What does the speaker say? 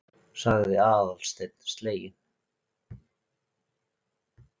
sagði Aðalsteinn sleginn.